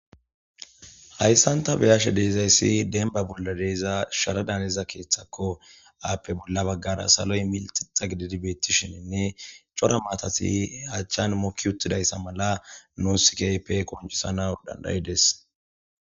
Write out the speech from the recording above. Hayssanta beyashe deezayssi denba bolla deeza sharadaneza keeththakko aappe bolla baggara saloy mili xixa gididi beettishininne cora maatati achchan mokki uttidayssa mala nuusikaype koncisana dandayides